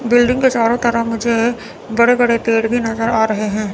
Building के चारों तरफ मुझे बड़े बड़े पेड़ भी नजर आ रहे हैं।